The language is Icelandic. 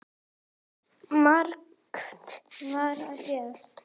Margt var að gerast.